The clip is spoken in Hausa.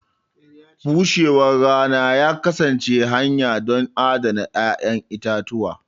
bushewar rana ya kasance hanya don adana 'ya'yan itatuwa.